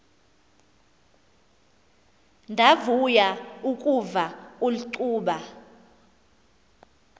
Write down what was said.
ndavuya ukuva ulcuba